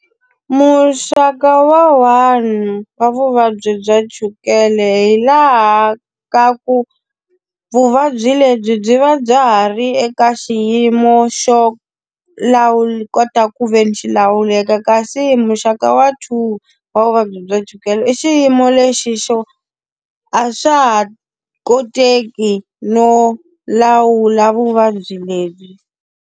Muxaka wa one wa vuvabyi bya chukele hi laha ka ku, vuvabyi lebyi byi va bya ha ri eka xiyimo xo kota ku ve ni xi lawuleka. Kasi muxaka wa two wa vuvabyi bya chukele i xiyimo lexi xo, a swa ha koteki no lawula vuvabyi lebyi.